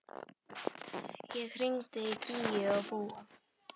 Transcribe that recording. Ég hringdi í Gígju og Búa.